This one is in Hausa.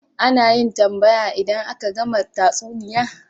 Ana yin tambaya idan aka gama tatsuniya